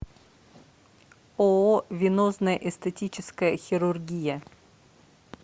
ооо венозная эстетическая хирургия